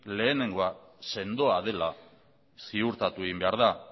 lehenengoa sendoa dela ziurtatu egin behar da